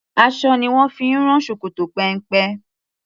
Aṣọ ni wón fi ń rán ṣòkòtò péńpé.